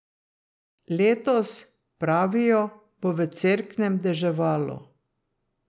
Letos, pravijo, bo v Cerknem deževalo.